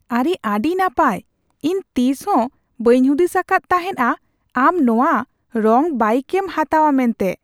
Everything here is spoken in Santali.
ᱟᱨᱮ ᱟᱹᱰᱤ ᱱᱟᱯᱟᱭ ! ᱤᱧ ᱛᱤᱥᱦᱚᱸ ᱵᱟᱹᱧ ᱦᱩᱫᱤᱥ ᱟᱠᱟᱫ ᱛᱟᱦᱮᱸᱱᱼᱟ, ᱟᱢ ᱱᱚᱶᱟ ᱨᱚᱝ ᱵᱟᱭᱤᱠ ᱮᱢ ᱦᱟᱛᱟᱣᱼᱟ ᱢᱮᱱᱛᱮ ᱾